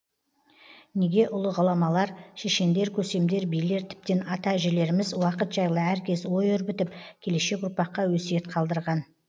неге ұлы ғұламалар шешендер көсемдер билер тіптен ата әжелеріміз уақыт жайлы әркез ой өрбітіп келешек ұрпаққа өсиет қалдырған